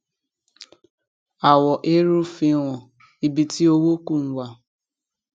àwọ eérú fihan ibi tí owó kù ń wà